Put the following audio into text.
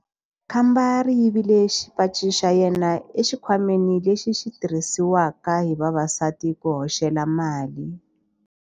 Khamba ri yivile xipaci xa yena exikhwameni lexi xi tirhisiwaka hi vavasati ku hoxela mali.